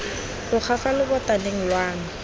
tloga fa lobotaneng lwa me